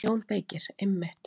JÓN BEYKIR: Einmitt!